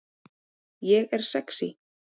Ég er sexý